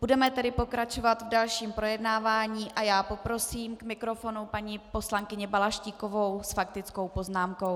Budeme tedy pokračovat v dalším projednávání a já poprosím k mikrofonu paní poslankyni Balaštíkovou s faktickou poznámkou.